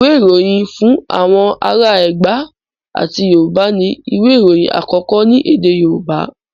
Ìwé Ìròyìn Fún Àwọn Ará Ẹ̀gbá àti Yorùbá ni ìwé ìròyìn àkọ́kọ́ ní èdè Yorùbá.